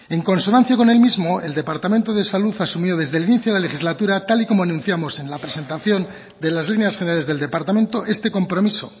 en consonancia con el mismo el departamento de salud ha asumido desde el inicio de la legislatura tal y como anunciamos en la presentación de las líneas generales del departamento este compromiso